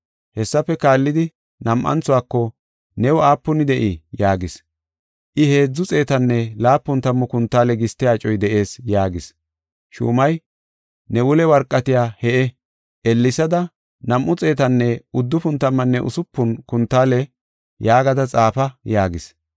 “Hessafe kaallidi nam7anthuwako, ‘New aapuni de7ii?’ yaagis. “I, ‘Heedzu xeetanne laapun tammu kuntaale giste acoy de7ees’ yaagis. “Shuumay, ‘Ne wule warqatiya he7e, ellesada, 296 kuntaale yaagada xaafa’ yaagis.